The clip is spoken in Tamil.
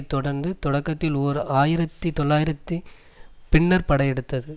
தொடர்ந்தது தொடக்கத்தில் ஓர் ஆயிரத்தி தொள்ளாயிரத்தி பின்னர் படையெடுத்தது